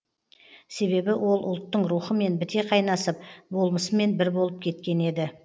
себебі ол ұлттың рухымен біте қайнасып болмысымен бір болып кеткен еді